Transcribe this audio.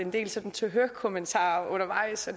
tak